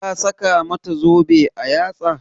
Ka saka mata zobe a yatsa?